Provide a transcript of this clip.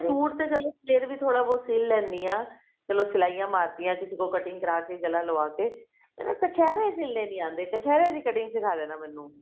suit ਤੇ ਚਲੋ ਫ਼ੇਰ ਵੀ ਥੋੜਾ ਬਹੁਤ ਸਿਲ ਲੈਣੀ ਹਾਂ ਚਲੋ ਸਲਾਈਆਂ ਮਾਰਤੀਆਂ ਕਿਸੇ ਤੋਂ cutting ਕਰ ਕੇ ਗਲਾ ਲਵਾ ਕੇ ਕਛੇਰੇ ਸਿਲਨੇ ਨੀ ਆਉਂਦੇ ਕਛੇਰੇ ਦੀ cutting ਸਿਖਾ ਦੇਣਾ ਮੈਨੂੰ